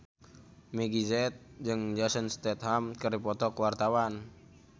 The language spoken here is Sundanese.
Meggie Z jeung Jason Statham keur dipoto ku wartawan